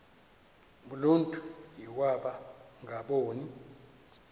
uluntu iwaba ngaboni